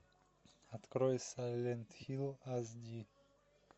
открой сайлент хилл ас ди